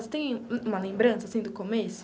Você tem uma lembrança, assim, do começo?